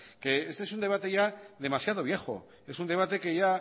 que este es un debate ya demasiado viejo es un debate que ya